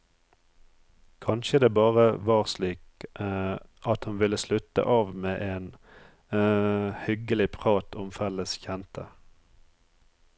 Kanskje det bare var slik at hun ville slutte av med en hyggelig prat om felles kjente.